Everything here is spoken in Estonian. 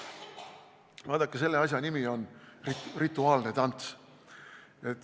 Vaadake, selle asja nimi on rituaalne tants.